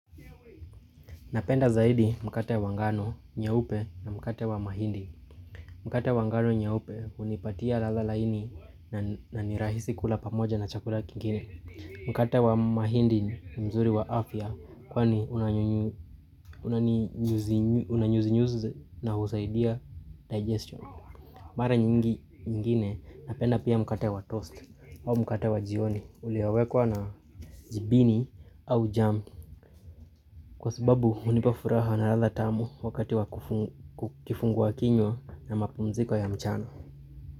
Napenda zaidi mkate wa ngano nyeupe na mkate wa mahindi Mkate wa ngano nyeupe hunipatia lala laini na ni rahisi kula pamoja na chakula kingine Mkate wa mahindi ni mzuri wa afya kwani unanyuzi nyuzi na husaidia digestion Mara nyingine napenda pia mkate wa toast au mkate wa jioni uliowekwa na jibini au jam Kwa sababu hunipa furaha na ladha tamu wakati wa kifungua kinywa na mapumziko ya mchana.